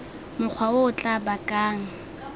mokgwa o o tla bakang